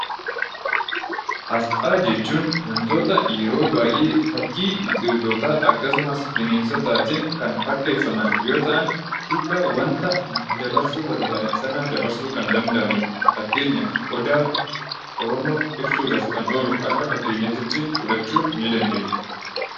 Asxaa jechuun wantoota yeroo baay'ee fakkii biqiltootaa yookiin bineensotaa tiin kan fakkeeffaman yoo ta'an, hiika wanta dabarsuu barbaadan sanaa dabarsuu kan danda'ani dha. Fakkeenyaaf Odaa. Oromoo ibsuu dhaaf kan oolu akka fakkeenyaa titti fudhachuu dandeenya.